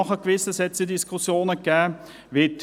Dazu hat es Diskussionen gegeben.